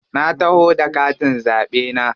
Na taho da katin zaɓe na.